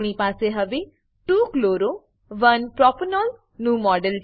આપણી પાસે હવે 2 chloro 1 પ્રોપેનોલ નું મોડેલ છે